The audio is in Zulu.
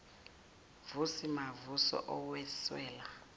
vusi mavuso owesula